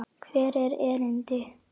Hvert er erindi?